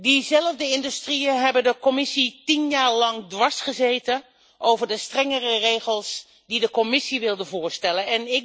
Diezelfde industrieën hebben de Commissie tien jaar lang dwarsgezeten over de strengere regels die de Commissie wilde voorstellen.